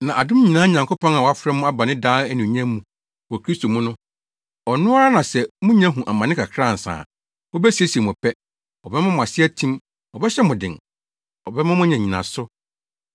Na adom nyinaa Nyankopɔn a wafrɛ mo aba ne daa anuonyam mu wɔ Kristo mu no, ɔno ara na sɛ munya hu amane kakra ansa a, obesiesie mo pɛ; ɔbɛma mo ase atim; ɔbɛhyɛ mo den; ɔbɛma moanya nnyinaso.